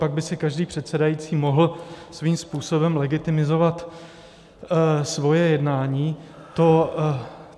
Pak by si každý předsedající mohl svým způsobem legitimizovat svoje jednání.